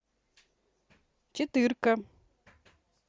четырка